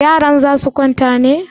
Yaran za su kwanta ne?